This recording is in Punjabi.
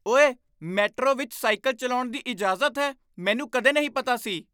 ਓਏ! ਮੈਟਰੋ ਵਿੱਚ ਸਾਈਕਲ ਚਲਾਉਣ ਦੀ ਇਜਾਜ਼ਤ ਹੈ। ਮੈਨੂੰ ਕਦੇ ਨਹੀਂ ਪਤਾ ਸੀ।